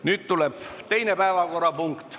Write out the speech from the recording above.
Nüüd tuleb teine päevakorrapunkt.